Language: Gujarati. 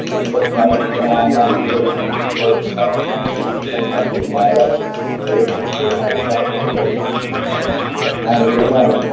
રુપાંતર કરી